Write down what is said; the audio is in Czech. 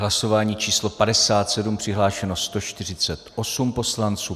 Hlasování číslo 57, přihlášeno 148 poslanců.